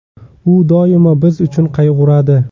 U doimo biz uchun qayg‘uradi.